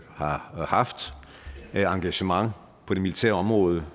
har haft af engagement på det militære område